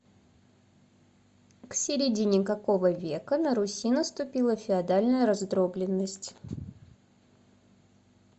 к середине какого века на руси наступила феодальная раздробленность